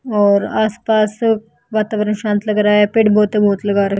और आसपास वातावरण शांत लग रहा है पेड़ बहुत लगा रहे--